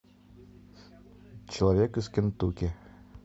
человек из кентукки